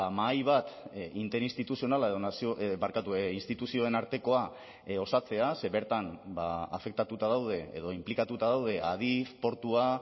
mahai bat interinstituzionala edo nazio barkatu instituzioen artekoa osatzea ze bertan afektatuta daude edo inplikatuta daude adif portua